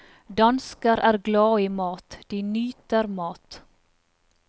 Dansker er glade i mat, de nyter mat.